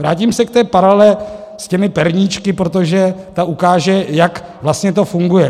Vrátím se k té paralele s těmi perníčky, protože ta ukáže, jak vlastně to funguje.